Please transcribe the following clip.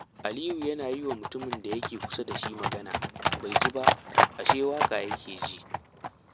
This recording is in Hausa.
Aliyu yana ta yi wa mutumin da yake kusa da shi magana, bai ji ba, ashe waƙa yake ji